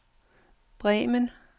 Bremen